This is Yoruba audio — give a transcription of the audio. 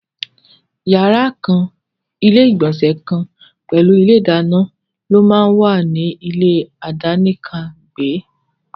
Yàrá kan, ilé ìgbònsè kan pèlú ilé ìdáná ló máà wà ní ilé àdánìkàn gbẹ́.